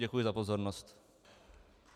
Děkuji za pozornost.